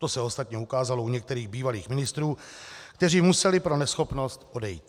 To se ostatně ukázalo u některých bývalých ministrů, kteří museli pro neschopnost odejít.